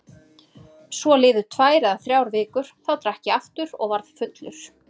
Svo liðu tvær eða þrjár vikur, þá drakk ég aftur og varð fullur.